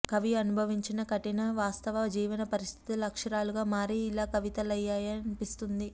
కవి అనుభవించిన కఠిన వాస్తవ జీవన పరిస్థితులు అక్షరాలుగా మారి ఇలా కవితలయ్యాయా అన్పిస్తుంది